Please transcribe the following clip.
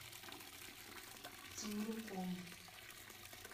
темрюком